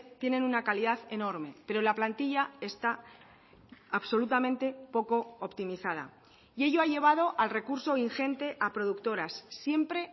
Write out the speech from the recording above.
tienen una calidad enorme pero la plantilla está absolutamente poco optimizada y ello ha llevado al recurso ingente a productoras siempre